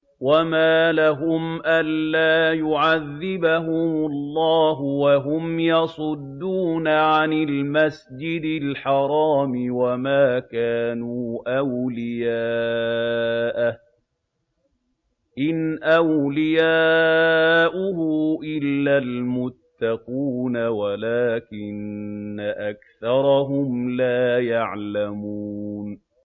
وَمَا لَهُمْ أَلَّا يُعَذِّبَهُمُ اللَّهُ وَهُمْ يَصُدُّونَ عَنِ الْمَسْجِدِ الْحَرَامِ وَمَا كَانُوا أَوْلِيَاءَهُ ۚ إِنْ أَوْلِيَاؤُهُ إِلَّا الْمُتَّقُونَ وَلَٰكِنَّ أَكْثَرَهُمْ لَا يَعْلَمُونَ